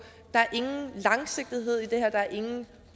der er ingen langsigtet hed i det her der er ingen